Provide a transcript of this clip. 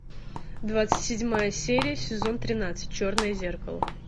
двадцать седьмая серия сезон тринадцать черное зеркало